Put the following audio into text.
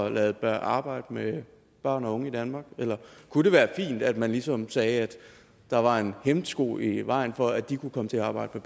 at lade arbejde med børn og unge i danmark eller kunne det være fint at man ligesom sagde at der var en hæmsko i vejen for at de kunne komme til arbejde